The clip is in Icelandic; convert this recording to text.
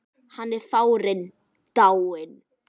Hann er farinn, dáinn.